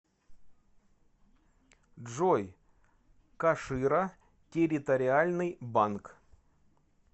джой кашира территориальный банк